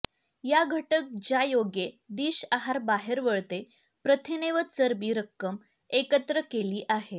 या घटक ज्यायोगे डिश आहार बाहेर वळते प्रथिने व चरबी रक्कम एकत्र केली आहे